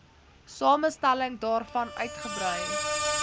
samestelling daarvan uitgebrei